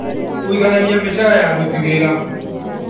Kũiganania mĩcara ya aruti wĩra